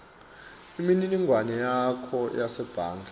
imininingwane yakho yasebhange